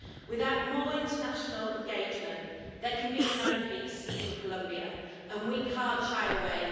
Without more international engagement, there can be no peace in Colombia and we can't shy away.